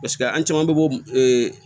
Paseke an caman bɛ bɔ ee